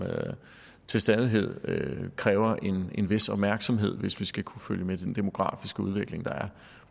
til stadighed kræver en vis opmærksomhed hvis vi skal kunne følge med den demografiske udvikling der er